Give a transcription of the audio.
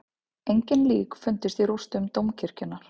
Engin lík fundust í rústum dómkirkjunnar